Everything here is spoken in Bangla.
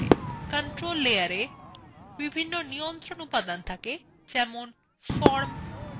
controls layer বিভিন্ন নিয়ন্ত্রণ উপাদান থাকে যেমন forms এবং buttons